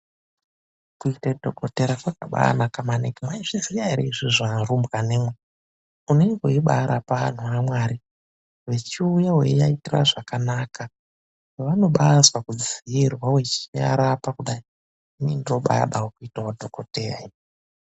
KUITE DHOKOTERA KWAKABAANAKA MANINGI. MWAIZVIZIYA ERE IZVIZVI ARUMBWANAMWI. UNENGE WEIBAARAPA ANHU AMWARI VECHIUYA WEIAITIRA ZVAKANAKA, VANOBAAZWA KUDZIIRWA WECHIARAPA KUDAI.ININI NDOOBAADAWO KUITAWO DHOKOTEYA INI.